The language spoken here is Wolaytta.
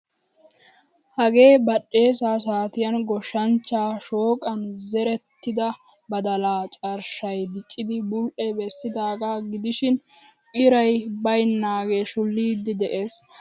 Hagee badhdheesa saatiyan goshshanchcha shooqan zerettida badalaa carshshay diccidi bul'ee bessidaga gidishin iray baynnage shulidi de'ees. Ha badalaay ira xayuwan shulidi de'ees.